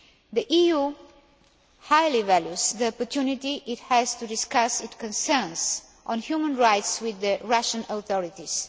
The EU highly values the opportunity it has to discuss its concerns on human rights with the Russian authorities.